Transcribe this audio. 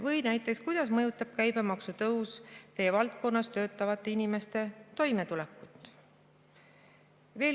Või näiteks kuidas mõjutab käibemaksu tõus teie valdkonnas töötavate inimeste toimetulekut?